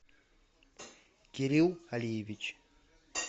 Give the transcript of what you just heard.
кирилл алиевич